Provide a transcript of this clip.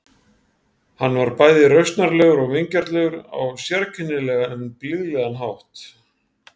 Hann var bæði rausnarlegur og vingjarnlegur á sérkennilegan en blíðlegan hátt.